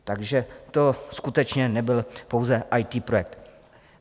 Takže to skutečně nebyl pouze IT projekt.